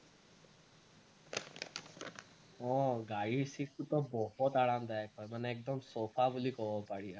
অ গাড়ীৰ seat টোতো বহুত আৰামদায়ক হয় মানে একদম sofa বুলি কব পাৰি আৰু